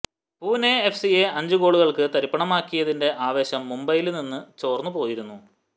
Pune F സിയെ അഞ്ച് ഗോളുകള്ക്ക് തരിപ്പണമാക്കിയതിന്റെ ആവേശം മുംബൈയില് നിന്ന് ചോര്ന്നു പോയിരിക്കുന്നു